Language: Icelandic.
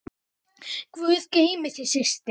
Guð geymi þig, elsku systir.